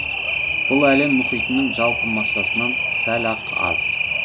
бұл әлем мұхитының жалпы массасынан сәл ақ аз